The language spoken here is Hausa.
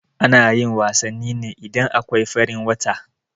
Anayin wasanni ne idan akwai farin wata